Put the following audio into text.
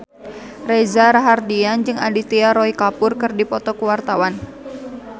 Reza Rahardian jeung Aditya Roy Kapoor keur dipoto ku wartawan